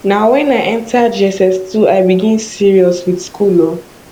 na wen i enta jss2 i begin serious with school o